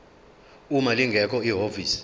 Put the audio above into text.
uma lingekho ihhovisi